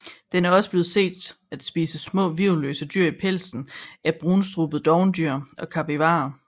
Den er også blevet set at spise små hvirvelløse dyr i pelsen af brunstrubet dovendyr og kapivarer